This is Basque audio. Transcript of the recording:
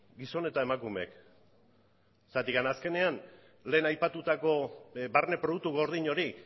gizon eta emakumeek zergatik azkenean lehen aipatutako barne produktu gordin hori